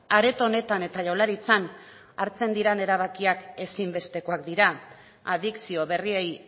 areto honetan eta jaurlaritzan hartzen diren erabakiak ezinbestekoak dira adikzio berriei